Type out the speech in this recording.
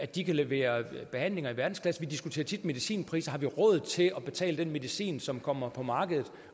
de kan levere behandlinger i verdensklasse vi diskuterer tit medicinpriser har vi råd til at betale den medicin som kommer på markedet